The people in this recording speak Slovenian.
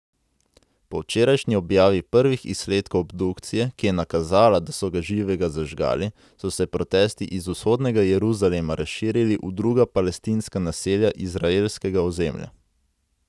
Po včerajšnji objavi prvih izsledkov obdukcije, ki je nakazala, da so ga živega zažgali, so se protesti iz vzhodnega Jeruzalema razširili v druga palestinska naselja izraelskega ozemlja.